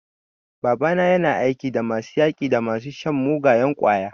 Babana yana aiki da masu yaƙi da masu shan mugayen ƙwaya.